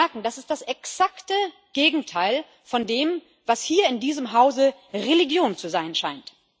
Sie merken, das ist das exakte Gegenteil von dem, was hier in diesem Hause Religion zu sein scheint.